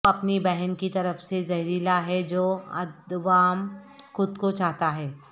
وہ اپنی بہن کی طرف سے زہریلا ہے جو ادوام خود کو چاہتا ہے